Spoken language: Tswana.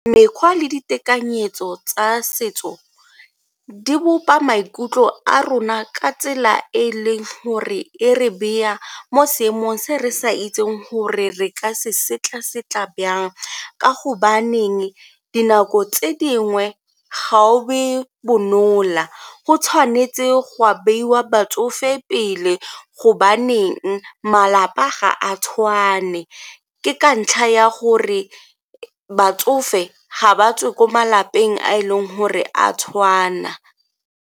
Mekgwa le ditekanyetso tsa setso di bopa maikutlo a rona ka tsela e e leng gore e re beya mo seemong se re sa itseng gore re ka se setla-setla jang ka gobaneng dinako tse dingwe ga o be go tshwanetse go beiwa batsofe pele gobaneng malapa ga a tshwane ke ka ntlha ya gore batsofe ga ba tswe ko malapeng a e leng gore a tshwana.